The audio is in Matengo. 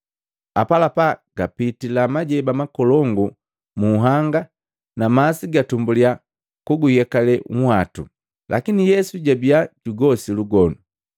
Apalapa, gapitila majeba makolongu munhanga na masi gatumbuliya kuguyekale nhwatu. Lakini Yesu jabiya jugosi lugonu.